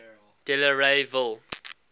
delareyville